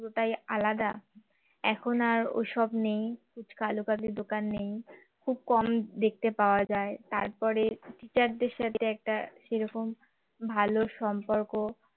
পুরোটাই আলাদা এখন আর ওইসব নেই ফুচকা আলুকাবলির দোকান নেই খুব কম দেখতে পাওয়া যায় তারপরে teacher দের সাথে একটা সেরকম ভালো সম্পর্ক